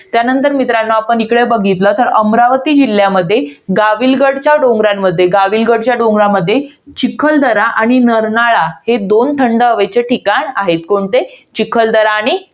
त्यानंतर मित्रांनो आपण इकडे बघितलं तर, अमरावती जिल्ह्यामध्ये, गाविलगडच्या डोंगरांमध्ये. गाविलगडच्या डोंगरांमध्ये चिखलदरा आणि नरनाळा हे दोन थंड हवेचे ठिकाण आहे. कोणते? चिखलदरा आणि